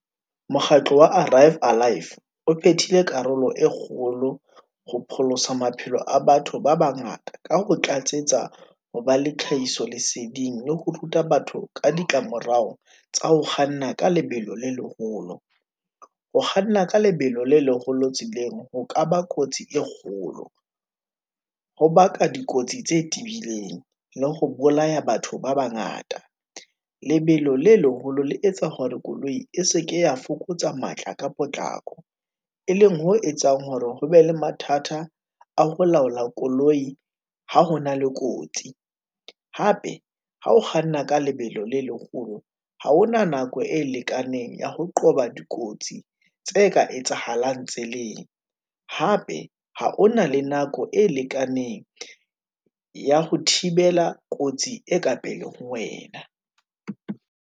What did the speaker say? Mokgatlo wa arrive alive, o phethile karolo e kgolo ho pholosa maphelo a batho ba bangata, ka ho tlatsetsa ho ba le tlhahiso leseding le ho ruta batho ka ditlamorao tsa ho kganna ka lebelo le leholo. Ho kganna ka lebelo le leholo tseleng ho ka ba kotsi e kgolo, ho baka dikotsi tse tibileng, le ho bolaya batho ba bangata. Lebelo le leholo le etsa hore koloi e se ke ya fokotsa matla ka potlako, e leng ho etsang hore ho be le mathata, a ho laola koloi ha hona le kotsi. Hape ha o kganna ka lebelo le leholo, ha hona nako e lekaneng ya ho qoba dikotsi, tse ka etsahalang tseleng. Hape ha ho na le nako e lekaneng, ya ho thibela kotsi e ka pele ho wena.